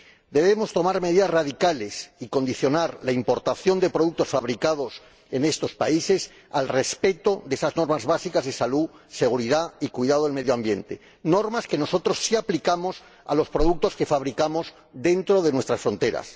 Debemos tomar medidas radicales y condicionar la importación de productos fabricados en estos países al respeto de esas normas básicas de salud, seguridad y cuidado del medio ambiente, normas que nosotros sí aplicamos a los productos que fabricamos dentro de nuestras fronteras.